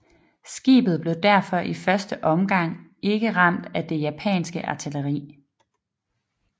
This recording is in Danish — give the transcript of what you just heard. Skibet blev derfor i første omgang ikke ramt af det japanske artilleri